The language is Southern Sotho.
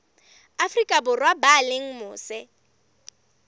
afrika borwa ba leng mose